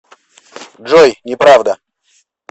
джой не правда